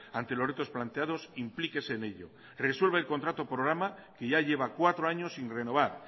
ante los retos planteados implíquese en ello resuelva el contrato programa que ya lleva cuatro años sin renovar